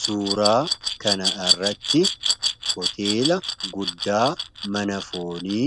suuraa kana irratti hoteela guddaa mana foonii